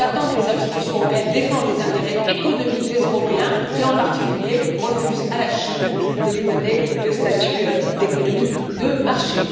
J'attends que les institutions européennes défendent les intérêts économiques des Européens et, en particulier, refusent à la Chine de lui donner le statut d'économie de marché.